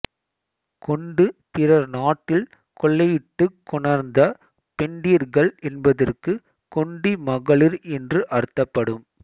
கொண்டு பிறர் நாட்டில் கொள்ளையிட்டுக் கொணர்ந்த பெண்டிர்கள் என்பதற்கு கொண்டி மகளிர் என்று அர்த்தப்படும்